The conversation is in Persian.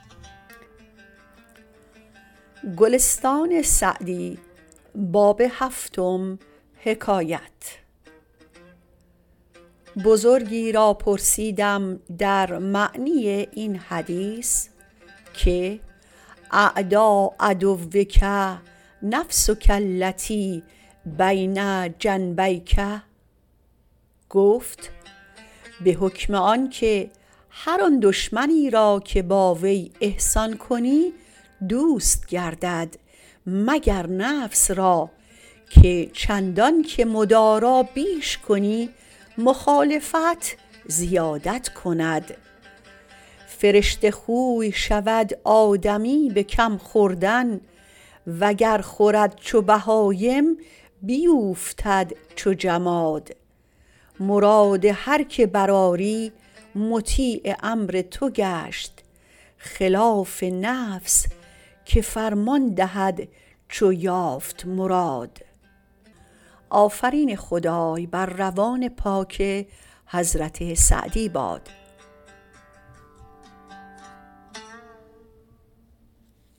بزرگی را پرسیدم در معنی این حدیث که اعدی عدوک نفسک التی بین جنبیک گفت به حکم آن که هر آن دشمنی را که با وی احسان کنی دوست گردد مگر نفس را که چندان که مدارا بیش کنی مخالفت زیادت کند فرشته خوی شود آدمی به کم خوردن وگر خورد چو بهایم بیوفتد چو جماد مراد هر که برآری مطیع امر تو گشت خلاف نفس که فرمان دهد چو یافت مراد